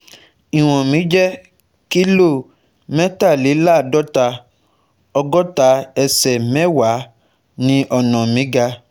Iwọn mi jẹ́ kilo mẹ́tàléláàádọ́ta, ọ̀gọ́ta ẹsẹ̀ mẹ́wàá ni ọ̀nà mi ga